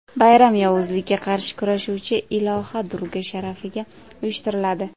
Bayram yovuzlikka qarshi kurashuvchi iloha Durga sharafiga uyushtiriladi.